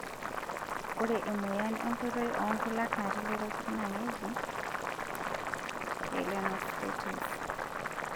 Ore emoyian enkoitoi oonkulak natii lairakuj naa keji pyelonephritis.